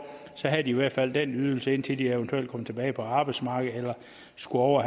havde de i hvert fald den ydelse indtil de eventuelt kom tilbage på arbejdsmarkedet eller skulle over og